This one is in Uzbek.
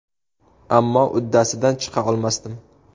Ammo uddasidan chiqa olmasdim.